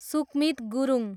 Sukmit Gurung